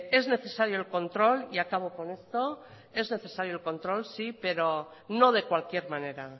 es necesario el control sí y acabo con estoy pero no de cualquier manera